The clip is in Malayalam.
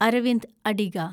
അരവിന്ദ് അഡിഗ